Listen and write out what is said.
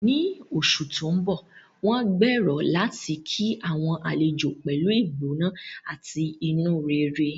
Ní oṣù tó ń bọ̀, wọ́n gbèrò láti kí àwọn àlejò pẹ̀lú ìgbóná àti inú rere.